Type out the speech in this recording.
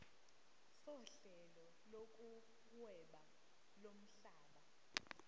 sohlelo lokuhweba lomhlaba